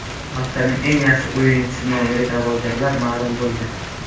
Haftaning eng yaxshi o‘yinchisi nomiga da’vogarlar ma’lum bo‘ldi.